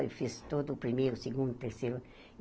Eu fiz todo o primeiro, o segundo, o terceiro.